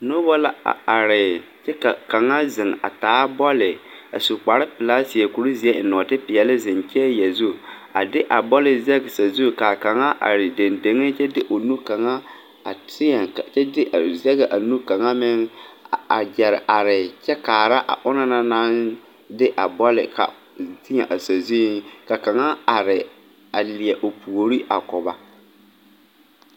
Noba la a are kyɛ ka kaŋa zeŋ a taa bɔɔli a su kparepelaa a seɛ kurizeɛ a eŋ nɔɔtepeɛlle a zeŋ chair zu a de a bɔli zɛge sazu ka a kaŋa are deŋdeŋe kyɛ de o nu kaŋa a teɛ kyɛ de a zɛge a nu kaŋa meŋ a gyɛre are kyɛ kaara a onaŋ na naŋ zɛge a bɔli teɛ a sazu ka kaŋa are a leɛ o puori a ko ba.